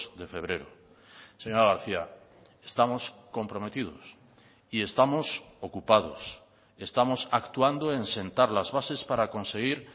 de febrero señora garcía estamos comprometidos y estamos ocupados estamos actuando en sentar las bases para conseguir